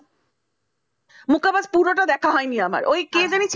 মুখ কপাল পুরোটা দেখা হয়নি ওই কে জানি